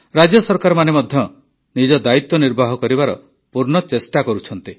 ରାଜ୍ୟ ସରକାରମାନେ ମଧ୍ୟ ନିଜ ଦାୟିତ୍ୱ ନିର୍ବାହ କରିବାର ପୂର୍ଣ୍ଣ ଚେଷ୍ଟା କରୁଛନ୍ତି